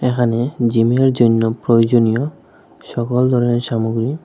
এখানে জিমের জন্য প্রয়োজনীয় সকল ধরনের সামগ্রী--